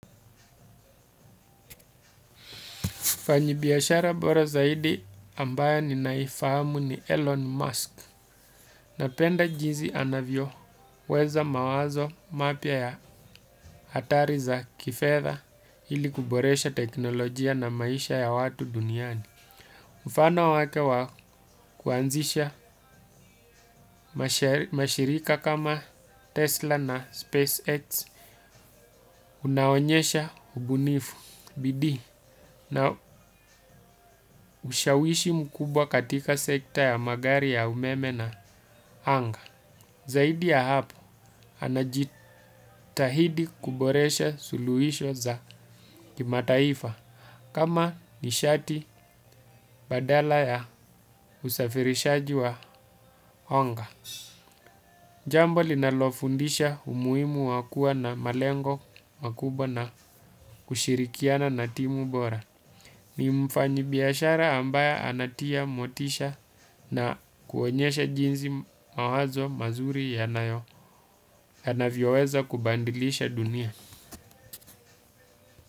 Mfanyibiashara bora zaidi ambaye ninaifahamu ni Elon Musk napenda jinsi anavyoweza mawazo mapya ya hatari za kifedha ili kuboresha teknolojia na maisha ya watu duniani. Mfano wake wa kuanzisha mashirika kama Tesla na SpaceX unaonyesha ubunifu bidii na ushawishi mkubwa katika sekta ya magari ya umeme na anga. Zaidi ya hapo, anajitahidi kuboresha suluhisho za kimataifa kama nishati badala ya usafirishaji wa anga. Jambo linalofundisha umuhimu wa kuwa na malengo makubwa na kushirikiana na timu bora. Ni mfanyibiashara ambaye anatia motisha na kuonyesha jinsi mawazo mazuri yanayo. Anavyoweza kubadilisha dunia.